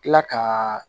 Kila ka